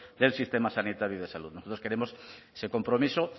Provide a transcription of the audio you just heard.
del sistema sanitario y de salud nosotros queremos ese compromiso